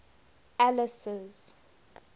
alice's